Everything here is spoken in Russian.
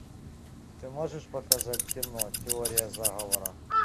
ты можешь показать кино теория заговора